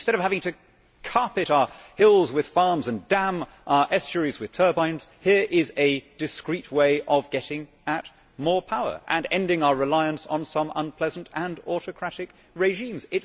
Instead of having to carpet our hills with wind farms and dam our estuaries with turbines, here is a discreet way of getting at more power and ending our reliance on some unpleasant and autocratic regimes.